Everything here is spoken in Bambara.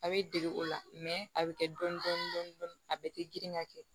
A bɛ dege o la a bɛ kɛ dɔɔni dɔɔni a bɛɛ tɛ girin ka kɛ